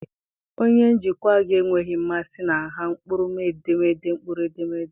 Onye njikwa gị enweghị mmasị na nha mkpụrụedemede mkpụrụedemede.